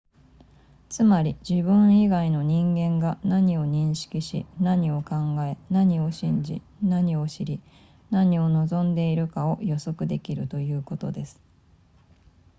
つまり自分以外の人間が何を認識し何を考え何を信じ何を知り何を望んでいるかを予測できるということです